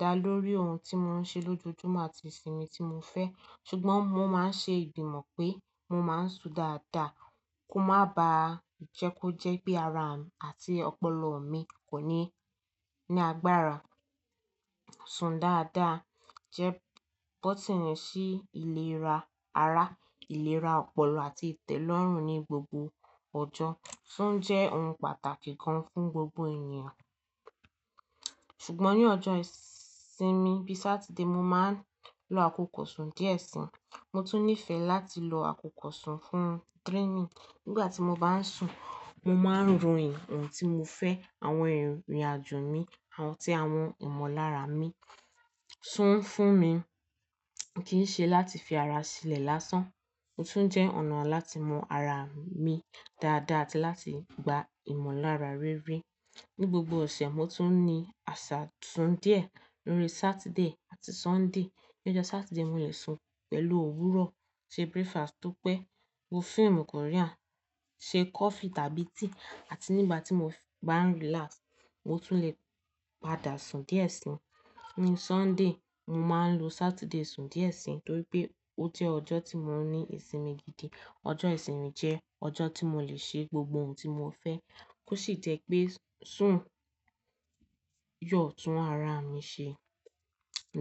dá lórí ohun tí mo ń ṣe lójoojúmọ́ àti ìsinmi tí mo fẹ́. Ṣùgbọ́n mo máa ń ṣe ìgbìmọ̀ pé mo máa ń sùn dáadáa kó má bàá jẹ́ kó jẹ́ pé ara àti ọpọlọ mi kò ní, ní agbára. Sùn dáadáa jẹ́ bótíìnì sí ìlera ara, ìlera ọpọlọ àti ìtẹ́lọ́rùn ní gbogbo ọjọ́, sùn jẹ́ ohun pàtàkì gan fún gbogbo ènìyàn. Ṣùgbọ́n ní ọjọ́ ìsinmi bíi Saturday, mo máa ń lo àkókò sùn díẹ̀ sí i. Mo tún níìfẹ̀ láti lo àkókò sùn fún dreaming. Nígbà tí mo bá ń sùn, mo máa ń ròyìn ohun tí mo fẹ́, àwọn ìrìnàjò mi, àwọn tí, àwọn ìmọ̀lára mi. Sùn ń fún mi, kì ń ṣe láti fi ara sílẹ̀ lásán, ó tún jẹ́ ọ̀nà láti mọ ara mi dáadáa àti láti gba ìmọ̀lára rere. Ni gbogbo òṣè, mo tún ní àṣà sùn díẹ̀ lórí Saturday àti Sunday. Ni ọjọ́ Saturday, mo lè sun pẹ̀lú òwúrọ̀, ṣe breakfast tó pẹ́, wo fíìmù Korean, ṣe coffee tàbí tíì àti nígbà tí mo bá ń relax, mo tún lè padà sùn díẹ̀ sí i. Ni Sunday, mo máa ń lo Saturday sùn díẹ̀ sí i torí pé ó jẹ́ ọjọ́ tí mo ní ìsinmi gidi. Ọjọ́ ìsinmi jẹ́ ọjọ́ tí mo lè ṣe gbogbo ohun tí mo fẹ́, kó sì jẹ́ pé sùn yóò tún ara mi ṣe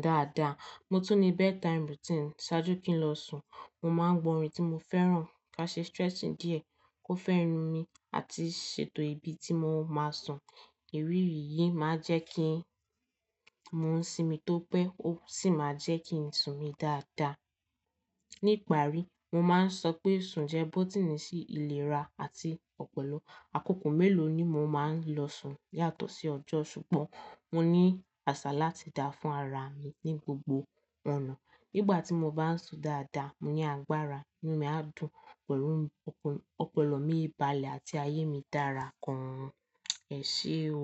dáadáa. Mo tún ní bedtime routine ṣáájú kí n lọ sùn. Mo máa ń gbọ́ orin tí mo fẹ́ràn, ka ṣe stretching díẹ̀ kó fẹ́ràn mi àti ṣètò ibi tí mo máa sùn. Ìrírí yìí máa ń jẹ́ kí mo sinmi tó pẹ́, ó sì máa jẹ́ kí n sùn mí dáadáa. Ní ìparí, mo máa ń sọ pé sùn jẹ́ bótíìnì sí ìlera àti ọpọlọ. Àkókò mélòó ni mo máa ń lọ sùn yàtọ̀ sí ọjọ́, ṣùgbọ́n mo ní àṣà láti dá fún ara mi ní gbogbo ọ̀nà. Nígbà tí mo bá ń sùn dáadáa, mo ní agbára, inú mi á dùn pẹ̀lú ọpọ, ọpọlọ mi balẹ̀ àti ayé mi dára gan. Ẹ ṣé o.